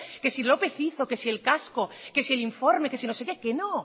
que si lópez hizo que si el casco que si el informe que si no sé qué que no